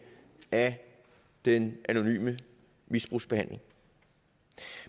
af den anonyme misbrugsbehandling